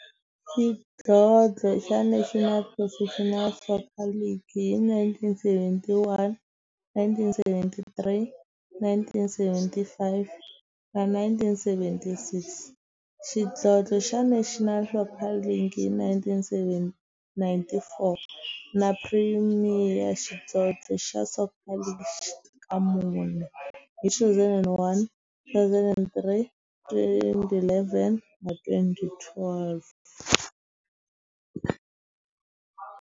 Xidlodlo xa National Professional Soccer League hi 1971, 1973, 1975 na 1976, xidlodlo xa National Soccer League hi 1994, na Premier Xidlodlo xa Soccer League ka mune, hi 2001, 2003, 2011 na 2012.